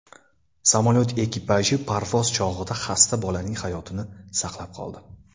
Samolyot ekipaji parvoz chog‘ida xasta bolaning hayotini saqlab qoldi.